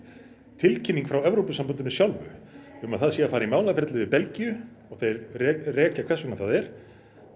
tilkynning frá Evrópusambandinu sjálfu um að það sé að fara í málaferli við Belgíu og þeir rekja hvers vegna það er